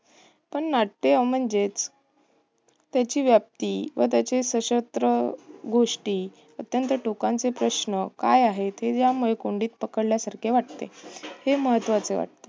पण नाट्य म्हणजेच त्याची व्याप्ती व त्याचे स्वंतत्र गोष्टी व त्यांचे टोकाचे प्रश्न काय आहेत? हे यामुळे कोंडीत पकडल्यासारखे वाटते. हे महत्वाचे वाटते.